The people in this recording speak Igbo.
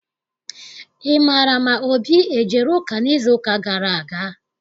Ị maara ma Obi ejere ụka n'izuụka gara aga?